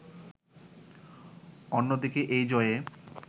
অন্যদিকে এই জয়ে